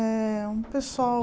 É um pessoal...